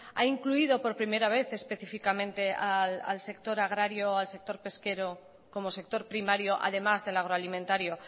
ha incluido por primera vez específicamente al sector agrario al sector pesquero como sector primario además del agroalimentario